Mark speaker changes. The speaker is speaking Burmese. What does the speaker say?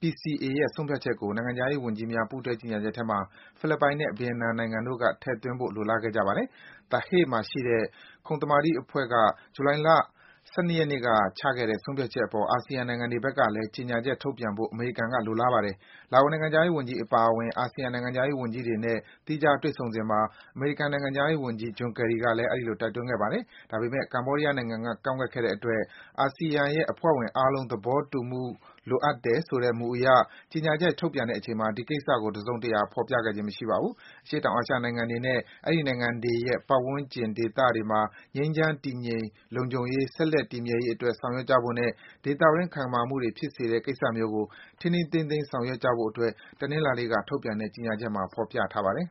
Speaker 1: PCA ရဲ့ ဆုံးဖြတ်ချက်ကို နိုင်ငံခြားရေးဝန်ကြီးများ ပူးတွဲ ကြေညာချက်ထဲမှာ ဖိလစ်ပိုင်နဲ့ Vietnam နိုင်ငံတို့က ထည့်သွင်းဖို့ လိုလားခဲ့ပါတယ်။ The Hague မှာရှိတဲ့ ခုံသမာဓိအဖွဲ့ ဇူလိုင်လ ၁၂ ရက်နေ့က ချခဲ့တဲ့ ဆုံးဖြတ်ချက်အပေါ် အာဆီယံနိုင်ငံတွေဖက်ကလဲ ကြေညာချက်ထုတ်ပြန်ဖို့ အမေရိကန်က လိုလားပါတယ်။ လာအိုနိုင်ငံခြားရေးဝန်ကြီး အပါအဝင် အာဆီယံ နိုင်ငံခြားရေး ဝန်ကြီးတွေနဲ့ သီးခြားစီ တွေ့ဆုံစဉ်မှာ အမေရိကန် နိုင်ငံခြားရေးဝန်ကြီး John Kerry ကလဲ တိုက်တွန်းခဲ့ပါတယ်။ ဒါပေမဲ့ Cambodia နိုင်ငံက ကန့်ကွက်ခဲ့တဲ့အတွက် အာဆီယံရဲ့ အဖွဲ့ဝင်အားလုံး သဘောတူညီမှုလိုတယ်ဆိုတဲ့ မူအရ ကြေညာချက် ထုတ်ပြန်ချိန်မှာ ဒီကိစ္စကို တစုံတရာဖော်ပြခြင်း မရှိခဲ့ပါဘူး။ အရှေ့တောင်အာရှနိုင်ငံတွေနဲ့ အဲဒီနိုင်ငံတွေရဲ့ ပတ်ဝန်းကျင်ဒေသတွေမှာ ငြိမ်းချမ်း၊ တည်ငြိမ်၊ လုံခြုံရေးဆက်လက် တည်မြဲရေးအတွက် ဆောင်ရွက်ကြဖို့နဲ့ ဒေသတွင်း တင်းမာမှုတွေဖြစ်စေနိုင်တဲ့ ကိစ္စမျိုးကို ထိန်းထိန်းသိမ်းသိမ်း ဆောင်ရွက်ကြဖို့ အတွက်ကိုပဲ တနင်္လာနေ့က ထုတ်ပြန်တဲ့ ကြေညာချက်ထဲမှာ ဖော်ပြထားပါတယ်။